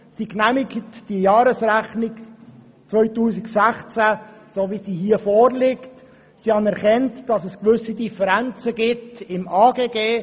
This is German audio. Sie genehmigt die Jahresrechnung 2016, so wie sie hier vorliegt, und nimmt zur Kenntnis, dass es gewisse Differenzen im Bereich des AGG gibt.